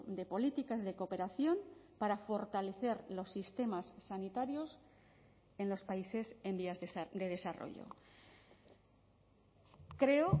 de políticas de cooperación para fortalecer los sistemas sanitarios en los países en vías de desarrollo creo